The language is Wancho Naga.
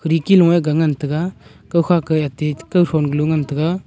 diku long e ngan taiga kaw khat ti ngan taiga.